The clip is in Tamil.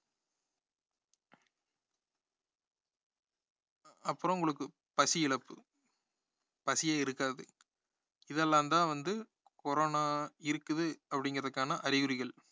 அப்புறம் உங்களுக்கு பசி இழப்பு பசியே இருக்காது இதெல்லாம் தான் வந்து corona இருக்குது அப்படிங்கறதுக்கான அறிகுறிகள்